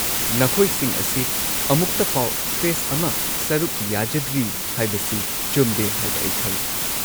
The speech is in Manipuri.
ꯅꯈꯣꯏꯁꯤꯡ ꯑꯁꯤ ꯑꯃꯨꯛꯇꯐꯥꯎ ꯐꯦꯁꯠ ꯑꯃ ꯁꯔꯨꯛ ꯌꯥꯖꯗ꯭ꯔꯤ ꯍꯥꯏꯕꯁꯤ ꯆꯨꯝꯗꯦ ꯍꯥꯏꯕ ꯑꯩ ꯈꯪꯉꯤ꯫